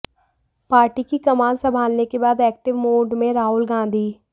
party की कमान संभालने के बाद एक्टिव मोड में राहुल गांधी